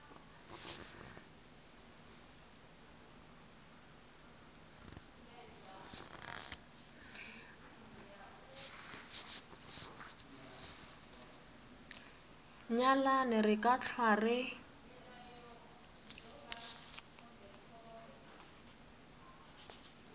nyalane re ka hlwa re